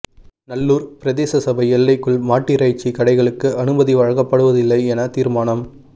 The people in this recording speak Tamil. நல்லூர் பிரதேச சபை எல்லைக்குள் மாட்டிறைச்சி கடைகளுக்கு அனுமதி வழங்கப்படுவதில்லை என தீர்மானம்